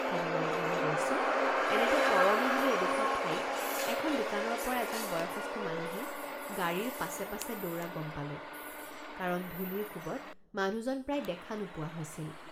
তিনিমাইলমান গৈছোঁ এনেতে তৰণী বুলি এডোখৰ ঠাইত এখন দোকানৰপৰা এজন বয়সস্থ মানুহে গাড়ীৰ পাছে পাছে দৌৰা গম পালোঁ কাৰণ ধূলিৰ কোবত মানুহজন প্ৰায় দেখা নোপোৱা হৈছিল।